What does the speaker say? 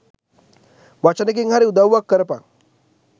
වචනෙකින් හරි උදව්වක් කරපන්